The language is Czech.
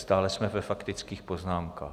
Stále jsme ve faktických poznámkách.